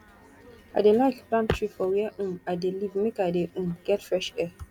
i dey like plant tree for where um i dey live make i dey um get fresh air